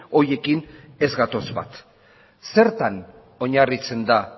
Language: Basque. horiekin ez gatoz bat zertan oinarritzen da